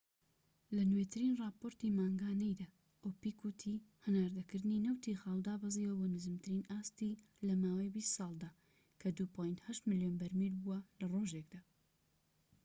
لە نوێترین راپۆرتی مانگانەیدا، ئۆپیک وتی هەناردەکردنی نەوتی خاو دابەزیوە بۆ نزمترین ئاستی لەماوەی بیست ساڵدا کە ٢.٨ ملیۆن بەرمیل بووە لە ڕۆژێكدا